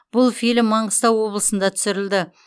бұл фильм маңғыстау облысында түсірілді